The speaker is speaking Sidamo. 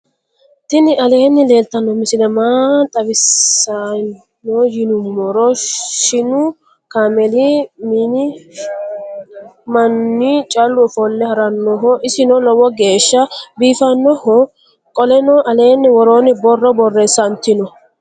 tinni aleeni leltano misile maa xawi saya yinumoro. shinu kameli minni maani calu offole haranoho. isino loowo gesha bifanohom. qoleeno allena worronni borro borressantino.